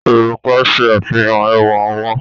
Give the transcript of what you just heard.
Òrùka ń ṣe àfihàn ẹwà ọwọ́.